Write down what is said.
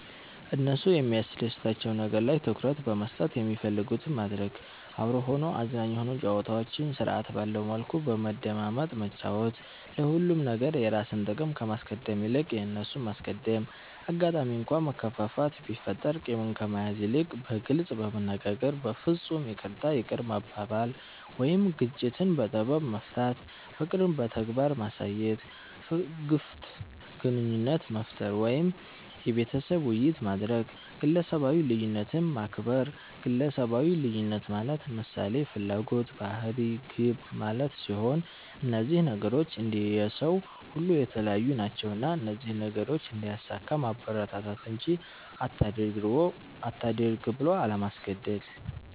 እነሱ የሚያስደስታቸዉ ነገር ላይ ትኩረት በመስጠት የሚፈልጉትን ማድረግ፤ አብሮ ሆኖ አዝናኝ የሆኑ ጨዋታዎችን ስርዐት ባለዉ መልኩ በመደማመጥ መጫወት፤ ለሁሉም ነገር የራስን ጥቅም ከማስቀደም ይልቅ የእነርሱን ማስቀደም፣ አጋጣሚ እንኳ መከፋፋት ቢፈጠር ቂምን ከመያዝ ይልቅ በግልጽ በመነጋገር በፍፁም ይቅርታ ይቅር መባባል ወይም ግጭትን በጥበብ መፍታት፣ ፍቅርን በተግባር ማሳየት፣ ግፍት ግንኙነት መፍጠር ወይም የቤተሰብ ዉይይት ማድረግ፣ ግለሰባዊ ልዩነትን ማክበር ግለሰባዊ ልዩነት ማለት ምሳሌ፦ ፍላጎት፣ ባህሪ፣ ግብ ማለት ሲሆን እነዚህ ነገሮች እንደየ ሰዉ ሁሉ የተለያዩ ናቸዉና እነዚህን ነገሮች እንዲያሳካ ማበረታታት እንጂ አታድርግ ብሎ አለማስገደድ።